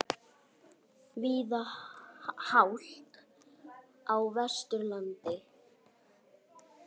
Víða hált á Vesturlandi